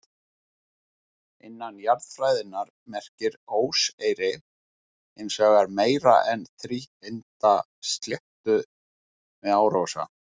Innan jarðfræðinnar merkir óseyri hins vegar meira en þríhyrnda sléttu við árósa.